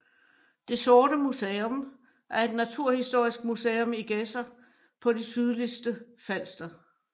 Det Sorte Museum er et naturhistorisk museum i Gedser på det sydligste Falster